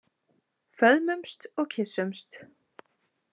Föðmumst og kyssumst.